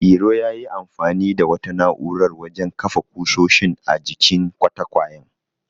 Iro yayi amfani da wata na'urar wajen kafa ƙusoshin a jikin katakwayen.